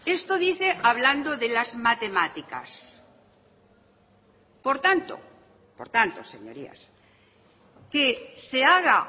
esto dice hablando de las matemáticas por tanto por tanto señorías que se haga